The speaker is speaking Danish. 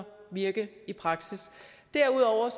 virke i praksis derudover er